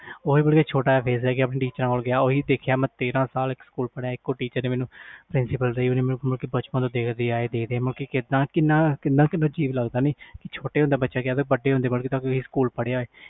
ਓਹੀ ਛੋਟਾ ਜਾ face ਲੈ ਕੇ teacher principal ਕੋਲ ਗਿਆ ਓਹੀ ਮੈਂ ਦੇਖਿਆ ਤੇਰਾਂ ਸਾਲ ਇਕ teacher ਕੋਲ ਪੜ੍ਹਇਆ ਬਚਪਨ ਤੋਂ ਮੈਨੂੰ ਦੇਖ ਦੀ ਆਈ ਕਿੰਨੀਆਂ ਯਾਦਾਂ ਹੁੰਦੀਆਂ ਆ ਬਚਪਨ ਵਿਚ